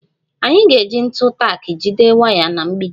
Anyị ga-eji ntu tak jide waya na mgbidi